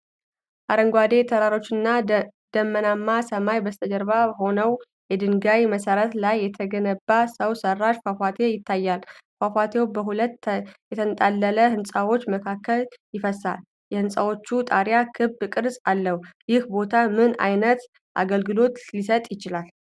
አረንጓዴ ተራሮችና ደመናማ ሰማይ በስተጀርባ ሆነው፣ የድንጋይ መሠረት ላይ የተገነባ ሰው ሠራሽ ፏፏቴ ይታያል። ፏፏቴው በሁለት የተንጣለሉ ሕንፃዎች መካከል ይፈሳል፣ የህንጻዎቹ ጣሪያ ክብ ቅርጽ አለው፤ ይህ ቦታ ምን ዓይነት አገልግሎት ሊሰጥ ይችላል?